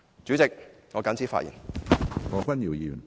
主席，我謹此陳辭。